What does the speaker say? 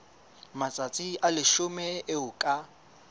matsatsi a leshome eo ka